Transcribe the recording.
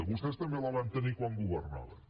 vostès també la van tenir quan governaven